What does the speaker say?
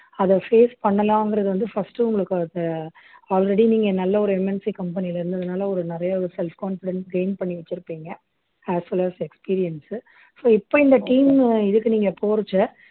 அதை face பண்ணலாங்கிறது வந்து first உங்களுக்கு அந்த already நீங்க நல்ல ஒரு MNCcompany ல இருந்ததுனால ஒரு நிறைய ஒரு self confidence gain பண்ணி வச்சிருப்பீங்க as well as experience so இப்ப இந்த team இதுக்கு நீங்க போறச்சே